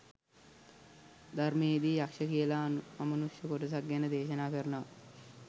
ධර්මයේ දී යක්ෂ කියලා අමනුෂ්‍ය කොටසක් ගැන දේශනා කරනවා.